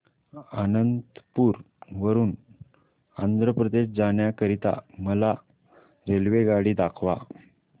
अनंतपुर वरून आंध्र प्रदेश जाण्या करीता मला रेल्वेगाडी दाखवा